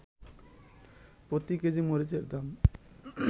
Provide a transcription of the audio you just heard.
প্রতি কেজি মরিচের দাম